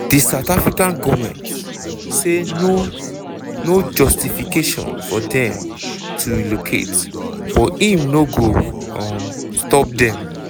di south african goment say no no justification for dem to relocate but im no go um stop dem